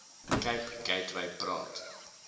cape gateway praat